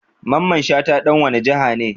Mamman Shata dan wani jiha ne?